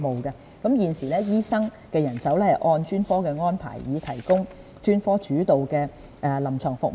現時，醫生人手是按專科安排，以提供專科主導的臨床服務。